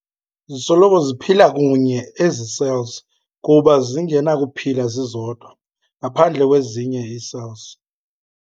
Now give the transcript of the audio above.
Zisoloko ziphila kunye ezi cells kuba zingenakuphila zizodwa, ngaphandle kwezinye ii-cells.